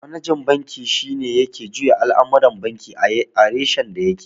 Manajan banki shi ke juya al'amuran banki a reshen da ya ke